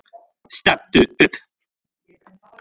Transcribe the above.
Stattu upp!